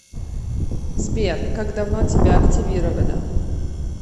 сбер как давно тебя активировали